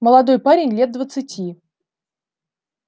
молодой парень лет двадцати